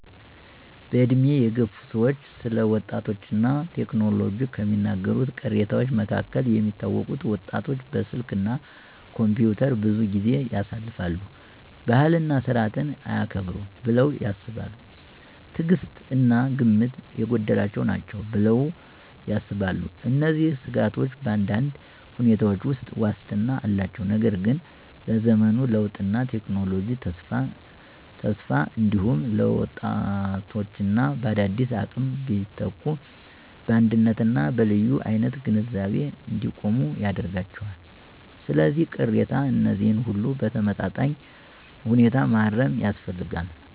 በዕድሜ የገፉ ሰዎች ስለ ወጣቶች እና ቴክኖሎጂ ከሚናገሩት ቅሬታዎች መካከል የሚታወቁት: ወጣቶች በስልክ እና ኮምፒውተር ብዙ ጊዜ ያሳልፋሉ። ባህልና ሥርዓትን አያከብሩም ብለው ያስባሉ። ትዕግሥት እና ግምት የጎደላቸው ናቸው ብለው ያስባሉ። እነዚህን ስጋቶች በአንዳንድ ሁኔታዎች ውስጥ ዋስትና አላቸው፣ ነገር ግን ለዘመኑ ለውጥና ለቴክኖሎጂ ተስፋ እንዲሁም ለወጣቶች በአዳዲስ አቅም ቢተኩ በአንደኝነት እና በልዩ አይነት ግንዛቤ እንዲቆሙ ያደርጋቸዋል። ስለዚህ፣ ቅሬታ እነዚህን ሁሉ በተመጣጣኝ ሁኔታ ማረም ያስፈልጋል።